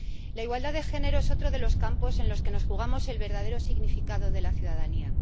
La igualdad de género es otro de los campos en los que nos jugamos el verdadero significado de la ciudadanía.